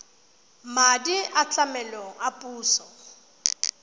madi a tlamelo a puso